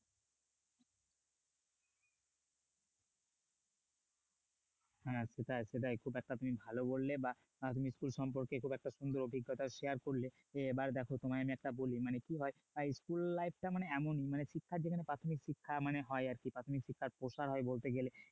হ্যাঁ সেটাই সেটাই খুব একটা তুমি ভালো বললে বা আধুনিক school সম্পর্কে খুব একটা সুন্দর অভিজ্ঞতা share করলে এবার দেখো তোমায় আমি একটা বলি মানে কি হয় এই school life টা মানে এমন যেখানে প্রাথমিক শিক্ষা মানে হয় আরকি প্রাথমিক শিক্ষার প্রসার হয় বলতে গেলে